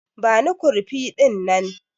Bani kurfi dinnan!